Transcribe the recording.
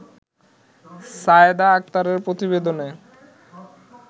সাইয়েদা আক্তারের প্রতিবেদনে